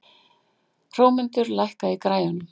Hrómundur, lækkaðu í græjunum.